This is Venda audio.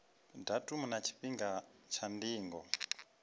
datumu na tshifhinga tsha ndingo